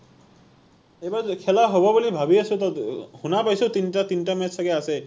এইবাৰ খেলা হব ভাবি আছো তো শুনা পাইছো তিনিটা তিনিটা match চাগে আছে